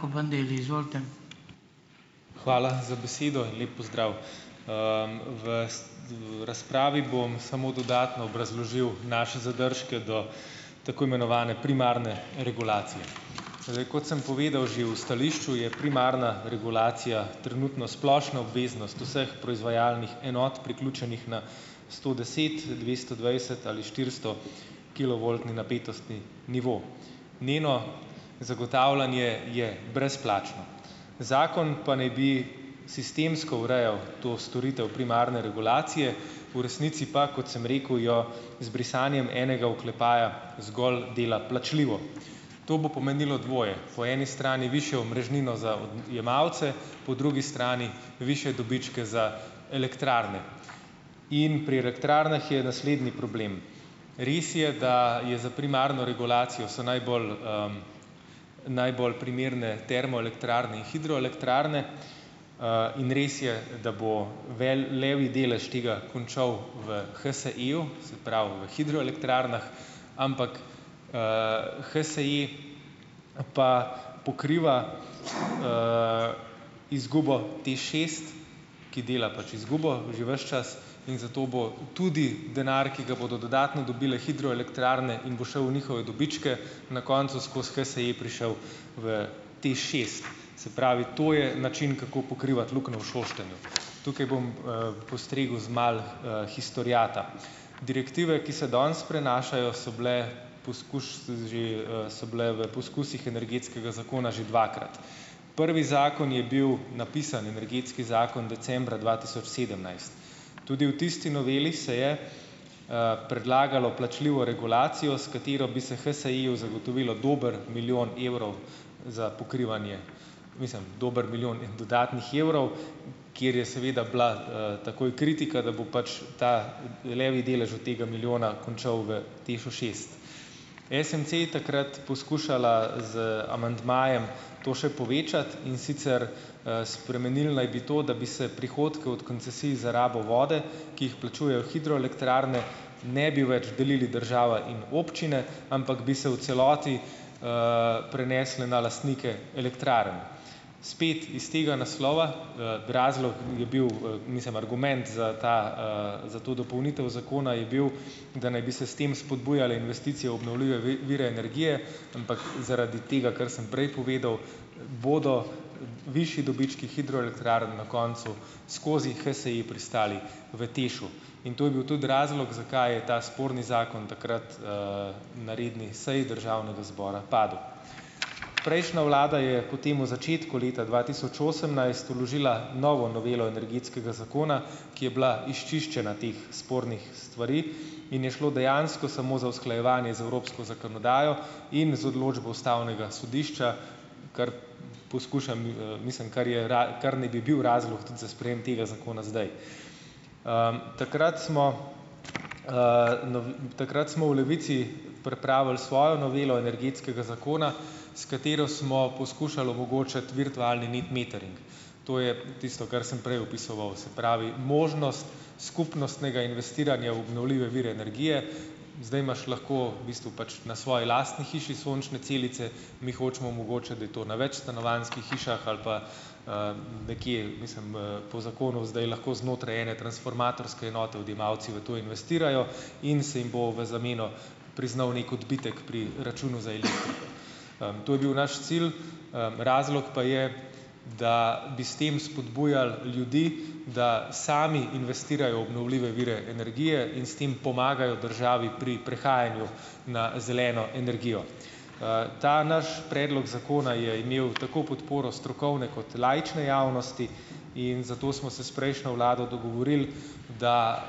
ko Bandelli, izvolite. Hvala za besedo in lep pozdrav, vas v razpravi bom samo dodatno obrazložil naše zadržke do tako imenovane primarne regulacije. Kot sem povedal že v stališču, je primarna regulacija trenutno splošna obveznost vseh proizvajalnih enot priključenih na stodeset-, dvestodvajset- ali štiristo- kilovoltno napetostni nivo, njeno zagotavljanje je brezplačno, zakon pa ne bi sistemsko urejal to storitev primarne regulacije, v resnici pa, kot sem rekel, jo z brisanjem enega oklepaja zgolj dela plačljivo, to bo pomenilo dvoje, po eni strani višjo omrežnino za odjemalce, po drugi strani višje dobičke za elektrarne in pri elektrarnah je naslednji problem, res je, da je za primarno regulacijo so najbolj, najbolj primerne termoelektrarne in hidroelektrarne, in res je, da bo levji delež tega končal v HSI-ju, se pravi v hidroelektrarnah, ampak, HSI pa pokriva, izgubo TEŠ šest, ki dela pač izgubo že ves čas, in zato bo tudi denar, ki ga bodo dodatno dobile hidroelektrarne in bo šel v njihove dobičke, na koncu skozi HSI prišel v TEŠ šest, se pravi, to je način kako pokrivati luknjo v Šoštanju, tukaj bom, postregel z malo, historiata. Direktive, ki se danes prenašajo, so bile že, so bile v poskusih energetskega zakona že dvakrat, prvi zakon je bil napisan energetski zakon decembra dva tisoč sedemnajst, tudi v tisti noveli se je, predlagalo plačljivo regulacijo, s katero bi se HSI-ju zagotovilo dober milijon evrov za pokrivanje, mislim, dober milijon dodatnih evrov, kjer je seveda bila, takoj kritika, da bo pač ta levji delež tega milijona končal v TEŠ-u šest. SMC takrat poskušala z amandmajem to še povečati, in sicer, spremenili naj bi to, da bi se prihodke od koncesij za rabo vode, ki jih plačujejo hidroelektrarne, ne bi več delili država in občine, ampak bi se v celoti, prenesle na lastnike elektrarn, spet iz tega naslova, razlog je bil, mislim, argument za ta, za to dopolnitev zakona je bil, da naj bi se s tem spodbujale investicije v obnovljive vire energije, ampak zaradi tega, kar sem prej povedal, bodo višji dobički hidroelektrarn na koncu skozi HSI pristali v TEŠ-u in to je bil tudi razlog, zakaj je ta sporni zakon takrat, na redni seji državnega zboru padel. Prejšnja vlada je po tem v začetku leta dva tisoč osemnajst vložila novo novelo energetskega zakona, ki je bila izčiščena teh spornih stvari, in je šlo dejansko samo za usklajevanje z evropsko zakonodajo in z odločbo ustavnega sodišča, kar poskušam, mislim, kar je kar naj bi bil razlog za sprejem tega zakona zdaj, takrat smo, takrat smo v Levici pripravili svojo novelo energetskega zakona, s katero smo poskušali omogočati virtualni net metering, to je tisto, kar sem prej opisoval, se pravi možnost skupnostnega investiranja v obnovljive vire energije, zdaj imaš lahko v bistvu pač na svojih lastni hiši sončne celice. Mi hočemo omogočiti, da je to na večstanovanjskih hišah ali pa, nekaj mislim, po zakonu zdaj lahko znotraj ene transformatorske enote odjemalci v to investirajo in se jim bo v zameno priznal neki odbitek pri računu za to je bil naš cilj, razlog pa je, da bi s tem spodbujali ljudi, da sami investirajo v obnovljive vire energije in s tem pomagajo državi pri prehajanju na zeleno energijo, ta naš predlog zakona je imel tako podporo strokovne kot laične javnosti in zato smo se s prejšnjo vlado dogovorili, da,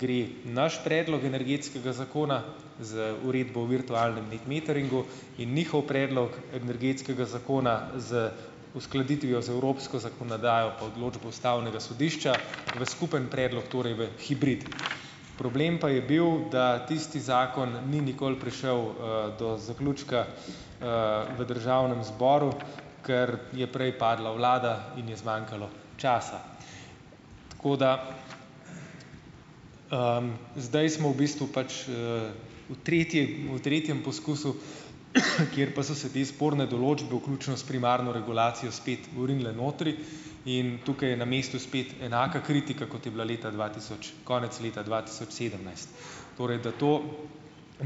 gre naš predlog energetskega zakona z uredbo in virtualnem net meteringu in njihov predlog energetskega zakona z uskladitvijo z evropsko zakonodajo pa odločbo ustavnega sodišča v skupen predlog, torej v hibrid, problem pa je bil, da tisti zakon ni nikoli prišel, do zaključka, v državnem zboru, ker je prej padla vlada in je zmanjkalo časa. JKdaj. zdaj smo v bistvu pač, v tretji, v tretjem poskusu, kjer pa so se te sporne določbe vključno s primarno regulacijo spet vrinile notri, in tukaj je na mestu spet enaka kritika, kot je bila leta dva tisoč konec leta dva tisoč sedemnajst, torej da to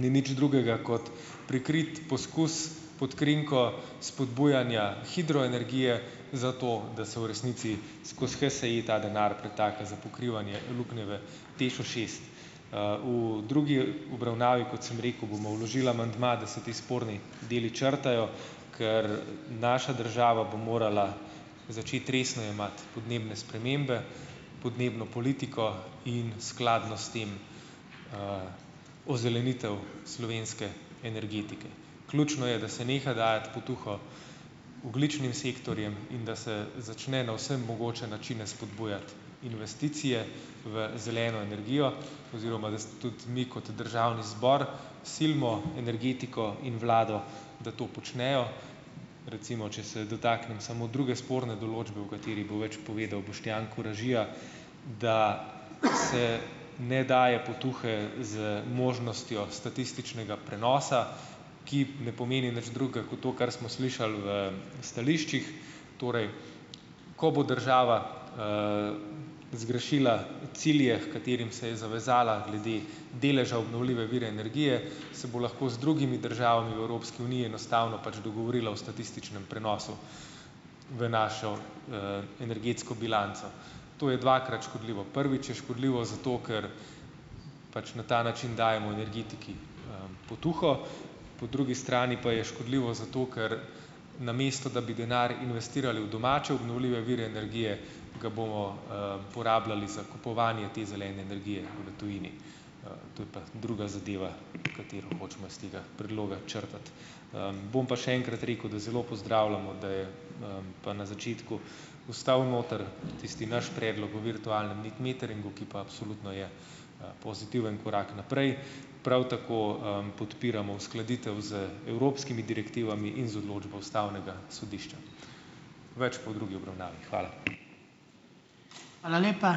ni nič drugega kot prikrit poskus pod krinko spodbujanja hidroenergije, zato da se v resnici skoz HSI ta denar pretaka za pokrivanje luknje v TEŠ-u šest, v drugi obravnavi, kot sem rekel, bomo vložili amandma, da se ti sporni deli črtajo, ker naša država bo morala začeti resno jemati podnebne spremembe, podnebno politiko in skladno s tem, ozelenitev slovenske energetike. Ključno je, da se neha dajati potuho ogljičnim sektorjem in da se začne na vse mogoče načine spodbujati investicije v zeleno energijo oziroma da se tudi mi kot državni zbor silimo energetiko in vlado, da to počnejo, recimo če se dotaknem samo druge sporne določbe, o kateri bo več povedal Boštjan Koražija, da se ne daje potuhe z možnostjo statističnega prenosa, ki ne pomeni nič drugega kot to, kar smo slišali v stališčih, torej ko bo država, zgrešila cilje, h katerim se je zavezala glede deleža obnovljive vire energije, se bo lahko z drugimi državami v Evropski uniji enostavno pač dogovorila o statističnem prenosu v našo, energetsko bilanco, to je dvakrat škodljivo, prvič je škodljivo zato, ker pač na ta način dajemo energetiki, potuho, po drugi strani pa je škodljivo zato, ker namesto da bi denar investirali v domačo obnovljive vire energije ga bomo, porabljali za kupovanje te zelene energije v tujini, to je pa druga zadeva, katero hočemo iz tega predloga črtati, bom pa še enkrat rekel, da zelo pozdravljamo, da je, pa na začetku ostal noter tisti naš predlog o virtualnem net meteringu, ki pa absolutno je, pozitiven korak naprej, prav tako, podpiramo uskladitev z evropskimi direktivami in z odločbo ustavnega sodišča, več pa v drugi obravnavi. Hvala. Hvala lepa, ...